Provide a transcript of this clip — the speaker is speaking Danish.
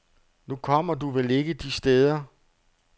Nu kommer du vel ikke de steder.